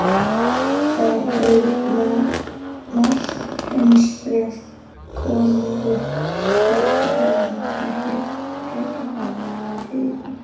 Þar beið Marteins bréf, konungur veitti honum ekki frekari áheyrn.